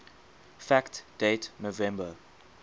fact date november